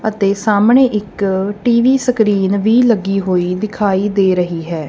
ਅਤੇ ਸਾਹਮਣੇ ਇੱਕ ਟੀ_ਵੀ ਸਕ੍ਰੀਨ ਵੀ ਲੱਗੀ ਹੋਈ ਦਿਖਾਈ ਦੇ ਰਹੀ ਹੈ।